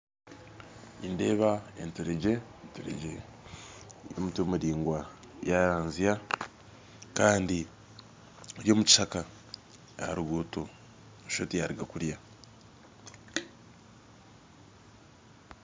Nindeeba enturegye eine omutwe muraingwa yaranzya kandi omukishaka aha ruguuto nooshusha oti yaruga kurya